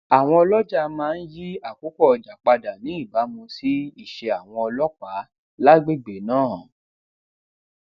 àwọn oloja máa ń yí àkókò ọjà padà ní ìbámu si ise awon ọlópàá lágbègbè náà